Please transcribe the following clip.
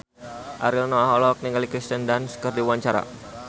Ariel Noah olohok ningali Kirsten Dunst keur diwawancara